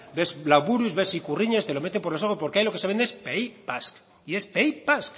ves lauburus ves ikurriñas te lo meten por los ojos porque ahí lo que se vende es pays basque